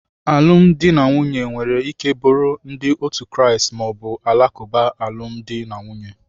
Alụmdi na nwunye nwere ike bụrụ ndi otu Kraist ma ọ bụ Alakuba alụmdi na nwunye.